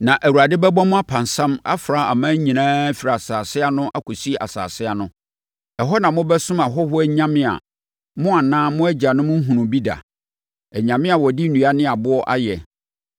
Na Awurade bɛbɔ mo apansam afra aman nyinaa firi asase ano kɔsi asase ano. Ɛhɔ na mobɛsom ahɔhoɔ anyame a mo anaa mo agyanom nhunuu bi da; anyame a wɔde nnua ne aboɔ ayɛ!